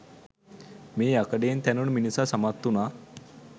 මේ යකඩයෙන් තැනුණු මිනිසා සමත් වුණා